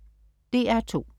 DR2: